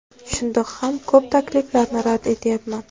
Shundoq ham ko‘p takliflarni rad etayapman.